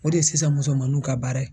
O de ye sisan musomanninw ka baara ye.